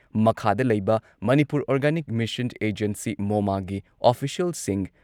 ꯃꯈꯥꯗ ꯂꯩꯕ Manipur organic mission agency ꯃꯣꯃꯥꯒꯤ ꯑꯣꯐꯤꯁꯤꯌꯦꯜꯁꯤꯡ